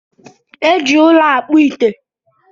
Eji ụlọ akpụ ite